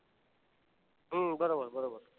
हम्म बरोबर बरोबर.